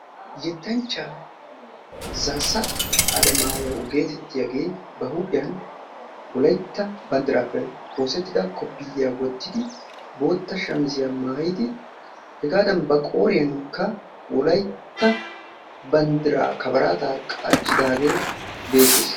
Yettanchchataa zaassa Alemmaayo gettettiyagee ba huuphphiyan wolaytta banddirappe oosetida koppiyiyaa wottidi boottaa shamiziya maayidi hegaadan ba qooriyankka wolaytta banddiraa kabbaraata qachchidaagee beettees.